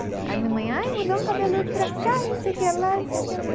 Aí minha mãe, ai, mudou um cabeludo para cá, e não sei o que lá, e não sei o que lá.